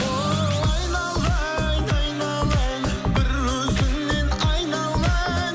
о айналайын айналайын бір өзіңнен айналайын